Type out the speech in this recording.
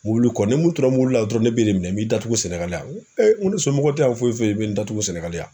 Mobili kɔ ni mun tura mobili la dɔrɔn ne b'e de minɛ, n b'i datugu Sénégal yan. Ŋo ŋo ne somɔgɔ te yan foyi foyi foyi i be n datugu Sénégal yan.